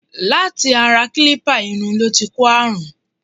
Láti ara kílípà iru ló ti kó àrùn.